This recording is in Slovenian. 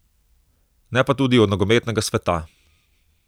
Ne pa tudi od nogometnega sveta.